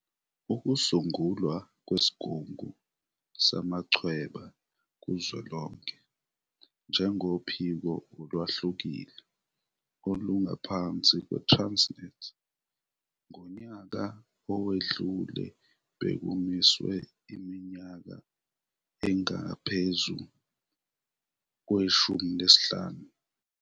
Ukusungulwa kweSigungu Samachweba Kuzwelonke njengophiko olwehlukile olungaphansi kwe-Transnet ngonyaka owedlule bekumiswe iminyaka engaphezu kwe-15.